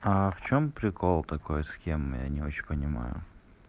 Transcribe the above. в чём прикол такой схем я не очень понимаю